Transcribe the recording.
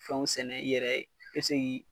Fɛnw sɛnɛ i yɛrɛ ye be se k'i